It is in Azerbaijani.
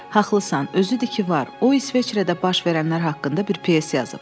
Haqlısan, özü də ki var, o İsveçrədə baş verənlər haqqında bir pyes yazıb.